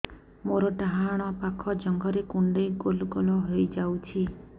ମୋର ଡାହାଣ ପାଖ ଜଙ୍ଘରେ କୁଣ୍ଡେଇ ଗୋଲ ଗୋଲ ହେଇଯାଉଛି